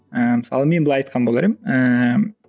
ыыы мысалы мен былай айтқан болар едім ыыы